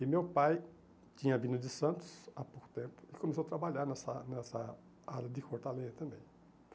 E meu pai tinha vindo de Santos há pouco tempo e começou a trabalhar nessa nessa área de cortar lenha também.